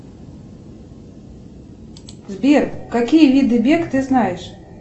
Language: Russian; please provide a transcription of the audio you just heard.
сбер какие виды бег ты знаешь